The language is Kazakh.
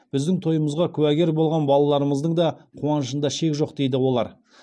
біздің тойымызға куәгер болған балаларымыздың да қуанышында шек жоқ дейді олар